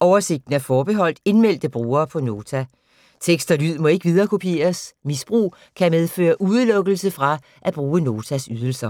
Oversigten er forbeholdt indmeldte brugere på Nota. Tekst og lyd må ikke viderekopieres. Misbrug kan medføre udelukkelse fra at bruge Notas ydelser.